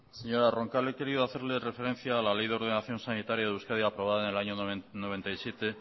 señora roncal he querido hacerle referencia a la ley de ordenación sanitaria de euskadi aprobada en el año mil novecientos noventa y siete